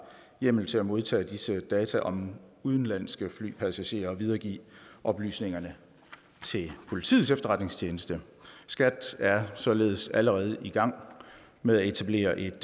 hjemmel til at modtage disse data om udenlandske flypassagerer og videregive oplysningerne til politiets efterretningstjeneste skat er således allerede i gang med at etablere et